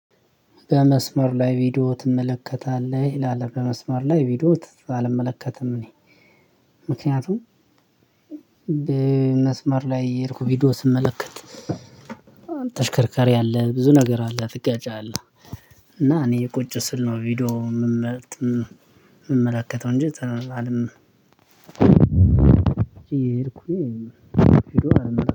በመስመር ላይ ቪዲዮ ትመለከታለህ? ይላል በመስመር ላይ ቪዲዮ አልመለከትም እኔ። ምክንያቱም በመስመር ላይ የሄድኩት ቪዲዮ ስመለከት። ተሽከርካሪ አለ ብዙ ነገር አለ ትገጫለህ። እና እኔ ቁጭ ስል ነው ቪዲዮ የምመለከተው። የምመለከተው እንጂ ተላልም። እየሄድኩኝ ቪዲዮ አልመ